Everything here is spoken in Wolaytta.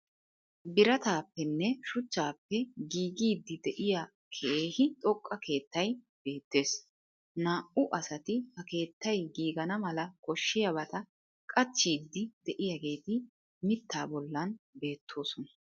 Birattappenne shuchchappe giggiyddi de'iya keehi xoqqa keettay beettees. Naa"u asati ha keettay gigganaa malaa koshiyabata qachchiyddi de'iyageeti mittaa bollan beettosona.